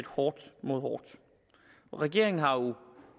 hårdt mod hårdt regeringen har jo